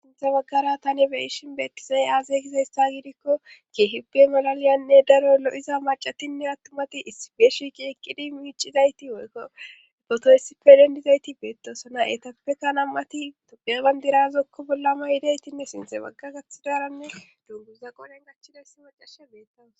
sinthe baggara tani beyishin beettizay aaze kizayssa gidikko kehipe malaliyanne daro lo7iza macatinne attumati isibeeshiki eqqidi miicizayti woykko potoysippe dendizayti beettosona etappeka nam7ati tobebandirazokko bollama yidaytinne sinthe bagga gaththi daaranne dunguza qoden gachchida issi macashe beettawos